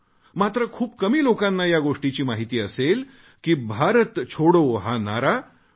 मात्र खूप कमी लोकांना या गोष्टीची माहिती असेल की भारत छोडो हा नारा डॉ